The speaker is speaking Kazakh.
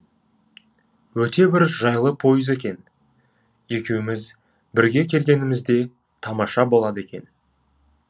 өте бір жайлы пойыз екен екеуміз бірге келгенімізде тамаша болады екен